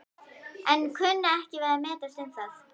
en kunni ekki við að metast um það.